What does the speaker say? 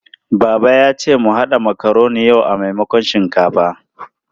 Baba ya ce mu haɗa makaroni yau a maimakon shinkafa.